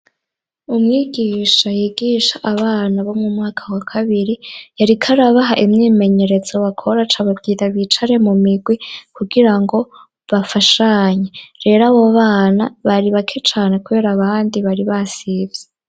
Umwigisha yigisha abana bo mu mwaka wa kabiri yariko arabaha imyimenyeretso bakora acababwira bicare mu migwi kugira ngo bafashanye rero abo bana bari bake cane kubera abandi bari basivye.